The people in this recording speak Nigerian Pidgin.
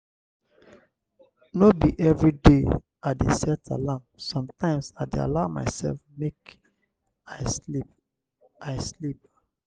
no be everyday i dey set alarm sometimes i dey allow mysef make i sleep. i sleep.